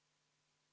Vaheaeg kümme minutit.